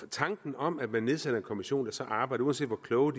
tanken om at man nedsætter en kommission der så arbejder uanset hvor kloge